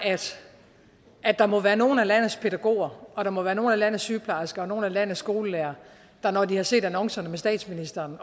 at der må være nogle af landets pædagoger og at der må være nogle af landets sygeplejersker og nogle af landets skolelærere der når de har set annoncerne med statsministeren